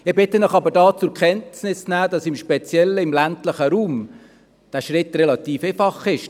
Ich bitte Sie aber, zur Kenntnis zu nehmen, dass dieser Schritt speziell im ländlichen Raum relativ einfach ist: